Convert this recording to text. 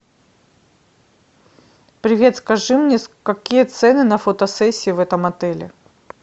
привет скажи мне какие цены на фотосессии в этом отеле